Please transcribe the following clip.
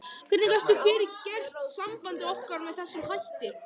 Hvernig gastu fyrirgert sambandi okkar með þessum hætti?